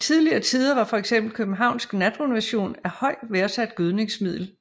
I tidligere tider var fx københavnsk natrenovation et højt værdsat gødningsmiddel